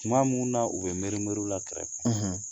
Kuma minnu na u bɛ miirime la kɛrɛfɛɛrɛ